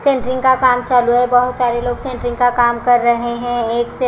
centering का काम चालू है बहोत सारे लोग सेंटरिंग का काम कर रहे हैं एक--